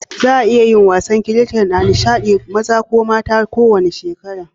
Za'a iya yin wasan kiriket a nishaɗi ko gasa, maza ko mata na kowanne shekaru.